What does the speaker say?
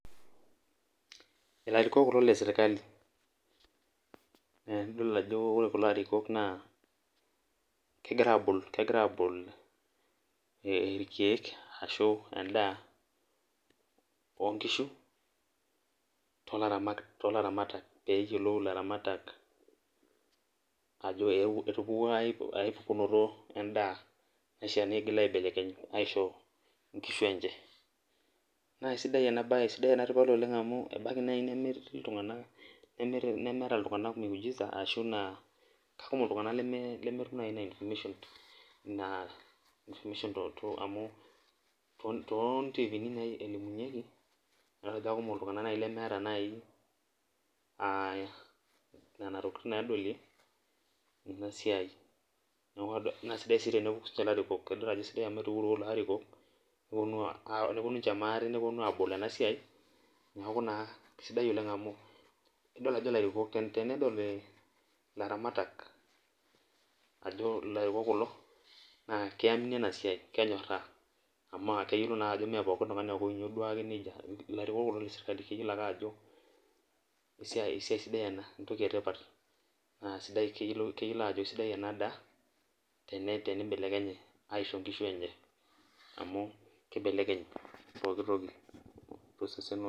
Ilarikok kulo leserkali idol ajo ore kulo arikok na kegira abol e rkiek ashu endaa onkishu peyiolou ilaramatak ajo etupukuo aidamunoto endaa naishaa pigil aibelekeny nisho nkishu enche na aisidai enabae sidai amu etii ltunganak lemeeta miujiza ashu kekumok ltunganak lemetum nai ina information na to tontifini nai elimunyeki na kekumok ltunganak nai lemeeta nona tokitin nadolie enasia nabaki larikok idol ajo etuo larikok abol enasiai neaku na kesidai amu tenedol ilaramatak ajo larikok kulo na kiamini enasiai kenyoraa amaa keyioloi na ajo maa pooki tungani ake olotu larikok kulo na keyioloi ajo entoki etipat esidai ena tenibelekenyi aisho nkishu enye amu kibelekeny pooki toki.